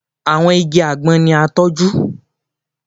Àwọn igi àgbọn ni a tọ́jú